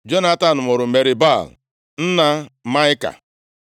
Jonatan mụrụ Merib-Baal nna Maịka.